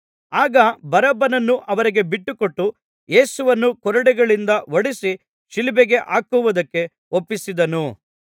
ಆಗ ಬರಬ್ಬನನ್ನು ಅವರಿಗೆ ಬಿಟ್ಟುಕೊಟ್ಟು ಯೇಸುವನ್ನು ಕೊರಡೆಗಳಿಂದ ಹೊಡಿಸಿ ಶಿಲುಬೆಗೆ ಹಾಕುವುದಕ್ಕೆ ಒಪ್ಪಿಸಿದನು